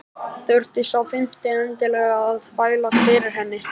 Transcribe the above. Þurfti sá fimmti endilega að þvælast fyrir henni!